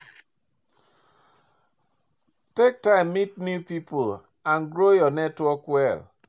Take time meet new pipo and grow your network well